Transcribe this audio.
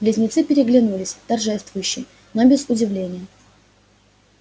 близнецы переглянулись торжествующе но не без удивления